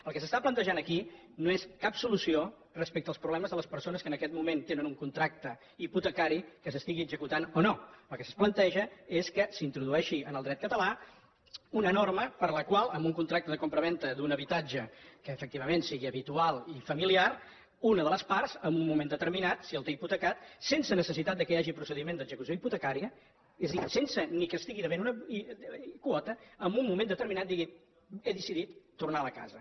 el que s’està plantejant aquí no és cap solució respecte als problemes de les persones que en aquest moment tenen un contracte hipotecari que s’estigui executant o no el que es planteja és que s’introdueixi en el dret català una norma per la qual en un contracte de compravenda d’un habitatge que efectivament sigui habitual i familiar una de les parts en un moment determinat si el té hipotecat sense necessitat que hi hagi procediment d’execució hipotecària és dir sense ni que estigui devent una quota en un moment determinat digui he decidit tornar la casa